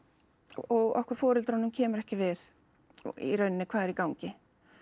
og okkur foreldrunum kemur ekki við í raun hvað er í gangi